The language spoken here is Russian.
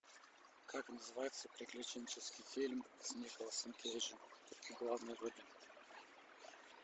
как называется приключенческий фильм с николасом кейджем в главной роли